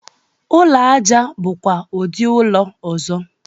Ụlọ aja bụkwa ụdị ụlọ ọzọ.